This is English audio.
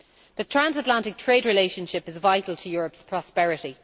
The transatlantic trade relationship is vital to Europe's prosperity.